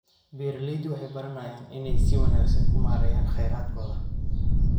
Beeraleydu waxay baranayaan inay si wanaagsan u maareeyaan kheyraadkooda.